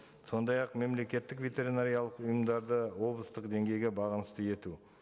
сондай ақ мемлекеттік ветеринариялық ұйымдарды облыстық деңгейге бағынысты ету